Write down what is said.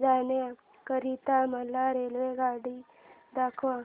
जाण्या करीता मला रेल्वेगाडी दाखवा